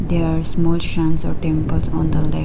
they are small sands or temples on the lake.